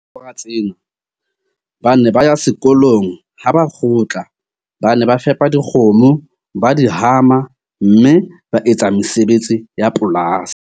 Ka mora tsena, ba ne ba ya sekolong, ha ba kgutla ba ne ba fepa dikgomo, ba di hama, mme ba etsa mesebetsi ya polasi.